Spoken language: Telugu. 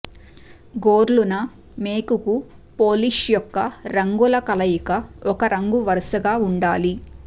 గోర్లు న మేకుకు పోలిష్ యొక్క రంగుల కలయిక ఒక రంగు వరుసగా ఉండాలి